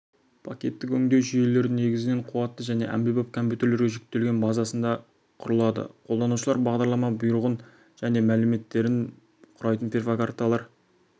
пакеттік өңдеу жүйелері негізінен қуатты және әмбебап компьютерге жүктелген базасында құрылады қолданушылар бағдарлама бұйрығын және мәліметтерін құрайтын перфокарталар